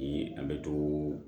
Ni an bɛ to